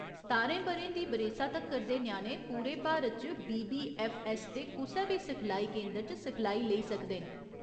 सतारें ब'रें दी बरेसा तक्कर दे ञ्याणे पूरे भारत च बीबीऐफ्फऐस्स दे कुसै बी सिखलाई केंदर च सिखलाई लेई सकदे न।